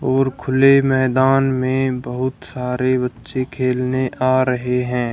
और खुले मैदान में बहुत सारे बच्चे खेलने आ रहे हैं।